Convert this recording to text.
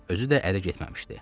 Özü də ərə getməmişdi.